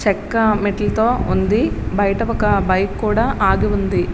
చెక్క మెట్లతో ఉంది. బయట ఒక బైకు ఆగి ఉంది.